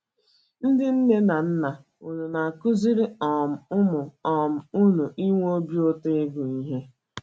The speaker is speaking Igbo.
Ndị nne na nna, ùnu na - akụziri um ụmụ um unu ịnwe obi ụtọ ịgụ ihe?